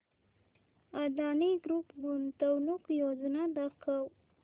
Adani group गुंतवणूक योजना दाखव